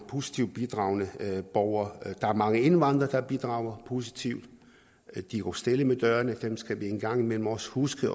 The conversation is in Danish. positivt bidragende borger der er mange indvandrere der bidrager positivt de går stille med dørene dem skal vi engang imellem også huske